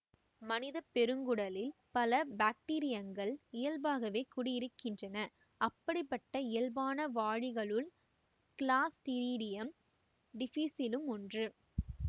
மனித பெருங்குடலில் பல பாக்டீரியங்கள் இயல்பாகவே குடியிருக்கின்றன அப்படிப்பட்ட இயல்பான வாழிகளுள் கிளாஸ்டிரிடியம் டிஃபிசிளும் ஒன்று